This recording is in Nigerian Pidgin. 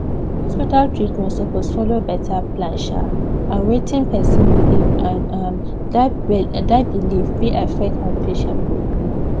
hospital treatment suppose follow better plan um and wetin person believe and um that belief fit affect how patient go gree